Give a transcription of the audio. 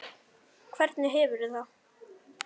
Hvernig hefurðu það?